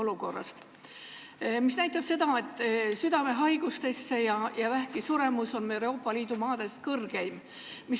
Raport näitab seda, et südamehaigustesse ja vähki suremus on meil Euroopa Liidu maades suurim.